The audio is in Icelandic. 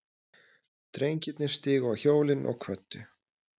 Drengirnir stigu á hjólin og kvöddu.